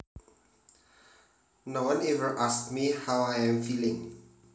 No one ever asks me how I am feeling